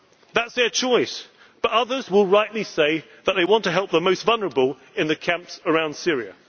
in the EU. That is their choice, but others will rightly say that they want to help the most vulnerable in the camps